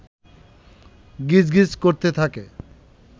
গিজ গিজ করতে থাকে